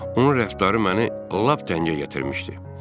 Onun rəftarı məni lap dəngə gətirmişdi.